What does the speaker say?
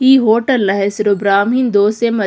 ಈ ಹೋಟೆಲ್ನ ಹೆಸರು ಬ್ರಾಹ್ಮಿನ್ ದೋಸೆ ಮತ್ --